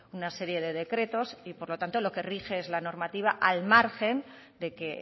una serie de decretos y por lo tanto lo que rige es la normativa al margen de que